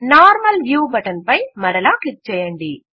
normal view button పై మరలా click చేయండి